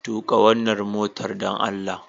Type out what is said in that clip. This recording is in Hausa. tuƙa wannan motar dan allah